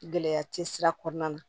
Gɛlɛya tɛ sira kɔnɔna na